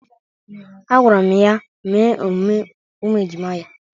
Agwara m ya mee emume ụmụ ejima ya.